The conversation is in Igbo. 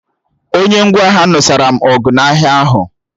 Onye ngwa ahịa nụsara m ọgụ n'ahịa ahụ